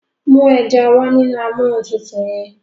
mú eja wá nínú Amóhuntutù yén.